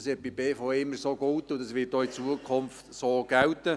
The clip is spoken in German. Das galt bei der BVE immer so, und das wird auch in Zukunft so gelten.